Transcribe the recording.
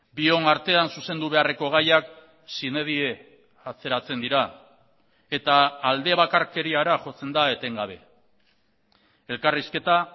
bion artean zuzendu beharreko gaiak sine die atzeratzen dira eta alde bakarkeriara jotzen da etengabe elkarrizketa